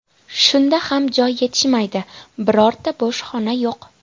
Shunda ham joy yetishmaydi, birorta bo‘sh xona yo‘q.